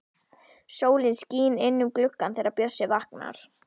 Sólin skín inn um gluggann þegar Bjössi vaknar.